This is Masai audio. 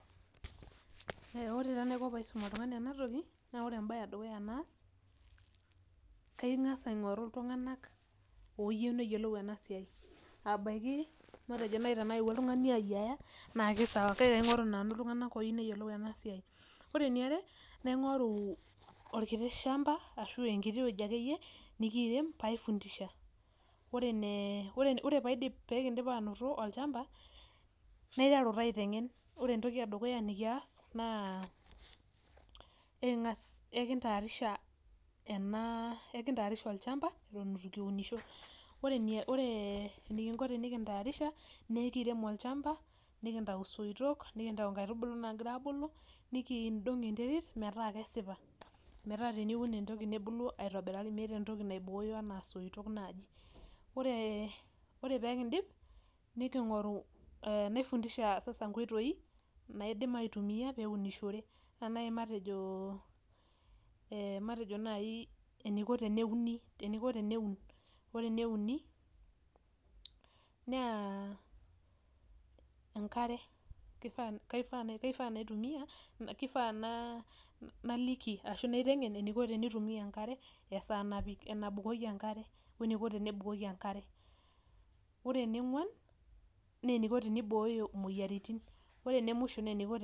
Ore taa enaiko paisum oltung'ani enatoki, na ore ebae edukuya naa, kang'asa aing'oru iltung'anak oyieu neyiolou enasiai. Abaiki matejo nai tenaewuo oltung'ani ayiaya, na kisawa. Kake kaing'oru nanu iltung'anak oyieu neyiolou enasiai. Ore eniare, naing'oru orkiti shamba, ashu enkiti wueji akeyie, nikiirem, paifundisha. Ore paidip pekidip anoto olchamba, naiteru taa aiteng'en. Ore entoki edukuya nikias, naa eking'as eki ntaarisha ena eki ntaarisha olchamba, eton itu kiunisho. Ore enikinko tenikintaarisha, nekirem olchamba, nikintau soitok, nikintau nkaitubulu nagira abulu, nikiidong' enterit metaa kesipa. Metaa teniun entoki nebulu aitobiraki metii entoki naibooyo enaa isoitok naji. Ore ore pekidip, niking'oru naifundisha sasa nkoitoi, naidim aitumia peunishore. Ena nai matejo, matejo nai eniko teneuni eniko teneun. Ore eneuni, naa enkare. Kifaa naitumia, kifaa naliki ashu aiteng'en eniko tenitumia enkare, esaa napik nabukoki enkare, weniko tenebukoki enkare. Ore ene ng'uan, neniko tenibooyo moyiaritin. Ore ene musho neniko